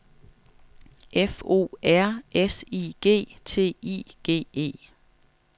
F O R S I G T I G E